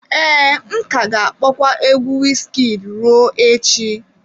Ee, m ka ga-akpọkwa egwu Wizkid ruo echi.